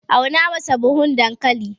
auna masa buhun dankali!